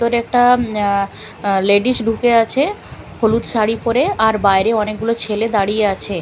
ভিতরে একটা লেডিস ঢুকে আছে হলুদ শাড়ি পরে আর বাইরে অনেক গুলো ছেলে দাঁড়িয়ে আছে --